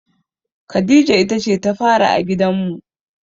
Khadija ita ce ta fari a gidanmu.